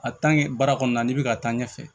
baara kɔnɔna na n'i bɛ ka taa ɲɛfɛ